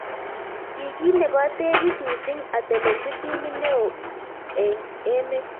ki kit nebo tekis missing atelelji timit neo eng emet.